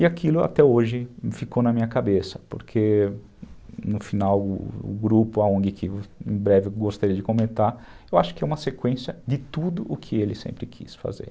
E aquilo até hoje ficou na minha cabeça, porque no final o grupo, a ongui que em breve eu gostaria de comentar, eu acho que é uma sequência de tudo o que ele sempre quis fazer.